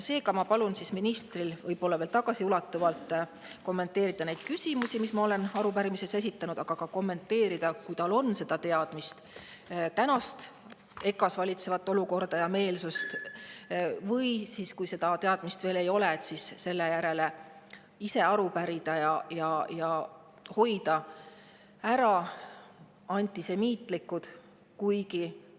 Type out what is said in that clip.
Seega ma palun ministril tagasiulatuvalt kommenteerida neid küsimusi, mis ma olen arupärimises esitanud, aga kommenteerida ka EKA-s praegu valitsevat olukorda ja meelsust, kui tal selle kohta on ja kui ei ole, siis selle kohta aru pärida ja hoida ära antisemiitlikke.